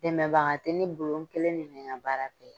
Dɛmɛbaga tɛ ne bolo n kelen de bɛ n ka baara kɛ.